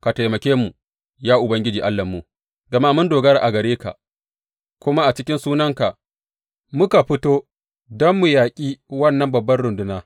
Ka taimake mu, ya Ubangiji Allahnmu, gama mun dogara a gare ka, kuma a cikin sunanka muka fito don mu yaƙi wannan babbar runduna.